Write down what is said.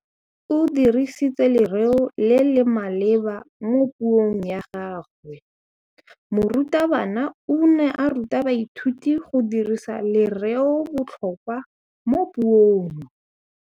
O dirisitse lerêo le le maleba mo puông ya gagwe. Morutabana o ne a ruta baithuti go dirisa lêrêôbotlhôkwa mo puong.